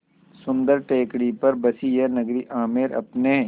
सुन्दर टेकड़ी पर बसी यह नगरी आमेर अपने